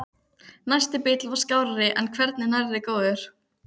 Næsti bíll var skárri en hvergi nærri góður.